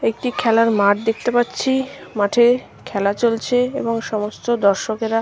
একটি খেলার মাঠ দেখতে পাচ্ছি। মাঠে খেলা চলছে এবং সমস্ত দর্শকেরা--